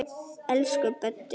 Elsku Böddi.